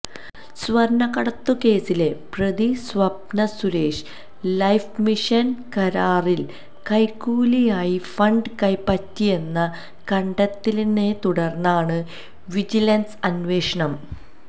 സ്വര്ണക്കടത്തു കേസിലെ പ്രതിസ്വപ്ന Suresh life mission കരാറില് കൈക്കൂലിയായി ഫണ്ട് കൈപ്പറ്റിയെന്ന കണ്ടെത്തലിനെത്തുടര്ന്നാണ് വിജിലന്സ് അന്വേഷണം